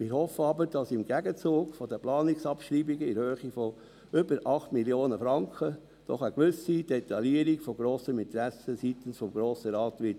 Ich hoffe aber, dass im Gegenzug von den Planungsabschreibungen in der Höhe von über 8 Mio. Franken doch eine gewisse Detaillierung von grossem Interesse seitens des Grossen Rates sein wird.